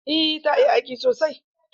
Eh ta iya aiki sosai.